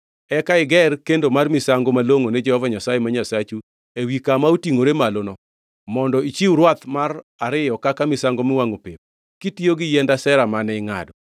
Eka iger kendo mar misango malongʼo ne Jehova Nyasaye ma Nyasachu ewi kama otingʼore maloni mondo ichiw rwath mar ariyo kaka misango miwangʼo pep, kitiyo gi yiend Ashera mane ingʼado.”